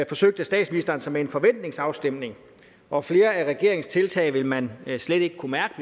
forsøgte statsministeren sig med en forventningsafstemning og flere af regeringens tiltag vil man slet ikke kunne mærke